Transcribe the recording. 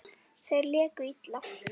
Þeir léku illa.